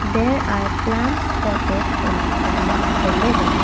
there are plants potted in on the upper level.